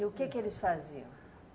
E o que que eles faziam?